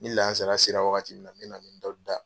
Ni lansara sera wagati min na n me n dɔnnin da.